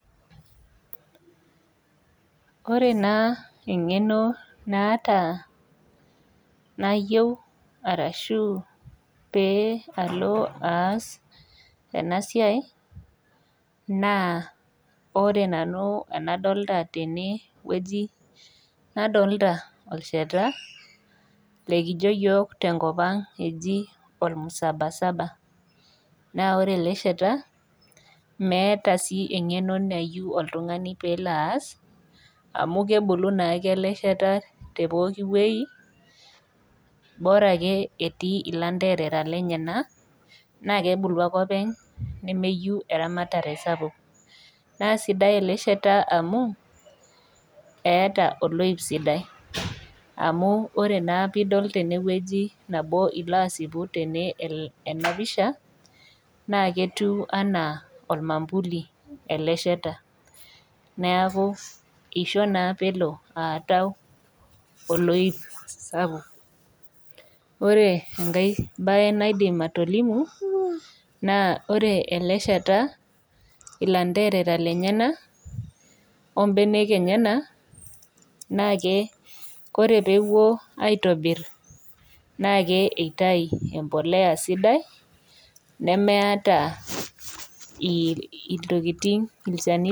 Ore naa eng'eno naata nayieu arashu pee alo aas ena siai naa ore nanu enadolta tene wueji nadolta olshata lekijio iyiok tenkop ang olmsabasaba naa ore ele shata meeta sii eng'eno nayieu oltung'ani peelo aas amu kebulu naake ele shata te pooki wuei bora ake etii ilanterera lenyena naa kebulu ake openy nemeyu eramatare sapuk naa sidai ele shata amu eeta oloip sidai amu ore naa piidol tenewueiji nabo ilo asipu tene el ena pisha naa ketiu anaa olmambuli ele shata neaku isho naa pelo aatau oloip sapuk ore enkae bae naidim atolimu naa ore ele shata ilanterera lenyenak ombenek enyena naake kore peepuo aitobirr naake eitai empoleya sidai nemeyata il iltokiting ilchanito.